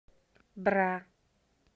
бра